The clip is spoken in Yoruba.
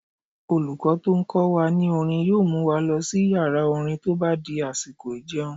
Olùkọ́ tó n kọ wa ní orin yóò mu wa lọ sí yàrá-orin tó bá di àsìkò ìjẹun